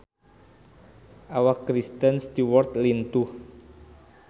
Awak Kristen Stewart lintuh